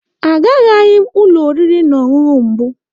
Agaraghị m ụlọ oriri na ọṅụṅụ mbụ.